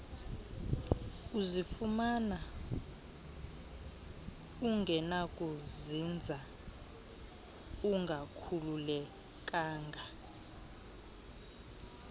uzifumana ungenakuzinza ungakhululekanga